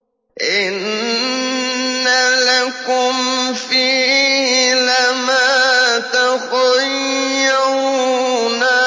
إِنَّ لَكُمْ فِيهِ لَمَا تَخَيَّرُونَ